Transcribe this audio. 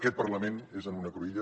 aquest parlament és en una cruïlla